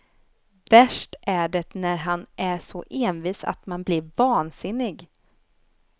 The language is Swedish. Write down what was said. Värst är det när han är så envis att man blir vansinnig.